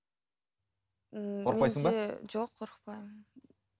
жоқ қорықпаймын